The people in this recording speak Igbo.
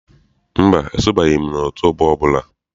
Mba, esonyebeghi m otú ọgbọ ọbụla.